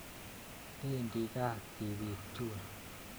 Pendi kaa tipiik chuun